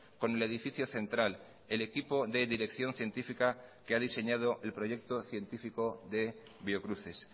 con el edificio central el equipo de dirección científica que ha diseñado el proyecto científico de biocruces